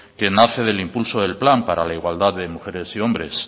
que nace de impulso del plan para la igualdad entre mujeres y hombres